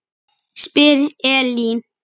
spyr Elín.